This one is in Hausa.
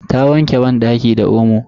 Ta wanke banɗaki da omo.